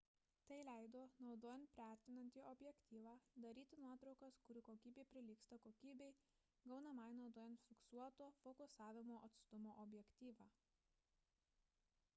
tai leido naudojant priartinantį objektyvą daryti nuotraukas kurių kokybė prilygsta kokybei gaunamai naudojant fiksuoto fokusavimo atstumo objektyvą